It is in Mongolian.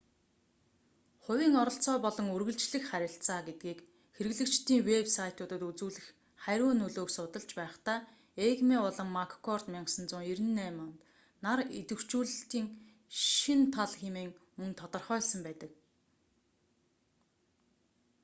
хувийн оролцоо болон үргэлжлэх харилцаа гэдгийг хэрэглэгчдийн вэб сайтуудад үзүүлэх хариу нөлөөг судалж байхдаа эйгмей болон маккорд 1998 нар идэвхжүүлэлтийн шинэ тал хэмээн мөн тодорхойлсон байдаг